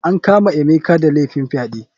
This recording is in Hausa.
An kama emeka da laifin fyaɗe.